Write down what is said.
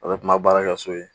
A' bɛ kuma baara kɛ so ye.